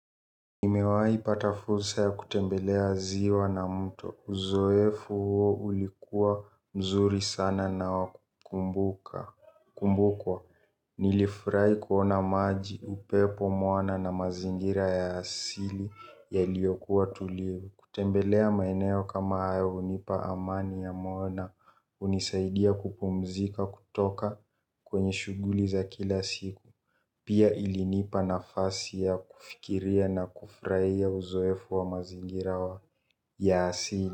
Nimewahi pata fursa ya kutembelea ziwa na mtu. Uzoefu huo ulikuwa mzuri sana na wa kukumbuka. Kumbukwa, nilifurahi kuona maji upepo moana na mazingira ya asili yaliyokuwa tulivu. Kutembelea maeneo kama hayo hunipa amani ya moyo na. Hunisaidia kupumzika kutoka kwenye shuguli za kila siku. Pia ilinipa na fasi ya kufikiria na kufurahia uzoefu wa mazingira wa ya asili.